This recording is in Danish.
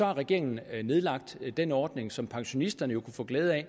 regeringen nedlagt den ordning som pensionisterne jo kunne få glæde af